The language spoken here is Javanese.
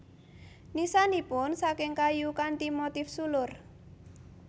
Nisanipun saking kayu kanthi motif sulur